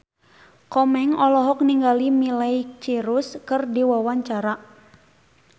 Komeng olohok ningali Miley Cyrus keur diwawancara